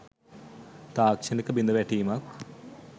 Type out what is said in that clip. තාක්‍ෂණික බිඳවැටීමක්